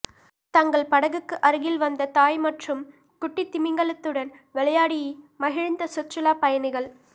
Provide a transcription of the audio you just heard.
தங்கள் படகுக்கு அருகில் வந்த தாய் மற்றும் குட்டி திமிங்கலத்துடன் விளையாடி மகிழ்ந்த சுற்றுலா பயணிகள்